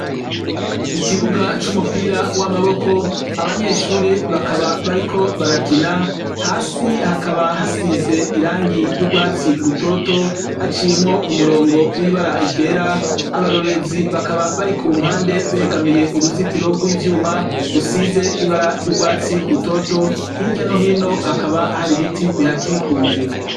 Ikibuga c'umupira w'amaboko abanyeshure bakaba bariko barakina hasi hakaba hasize irangi ry'urwatsi rutoto haciyemwo umurongo w'ibara ryera abarorerezi bakaba bari ku mpande begamiye uruzitiro rw'ivyuma rusize ibara ry'urwatsi rutoto hirya no hino hakaba hari ibiti bihakikuje.